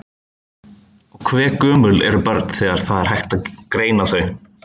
Og hve gömul eru börn þegar það er hægt að greina þau?